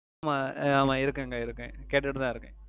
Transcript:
ஆமாம் அஹ் ஆமாம் இருக்குங்க இருக்குங்க கேட்டுட்டு தான் இருக்கேன்